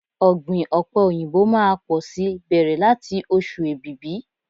Ọ̀gbìn ọ̀pẹ̀ òyìnbó máá pọ̀ si bẹ̀rẹ̀ láti ọ̀ṣù Èbìbí.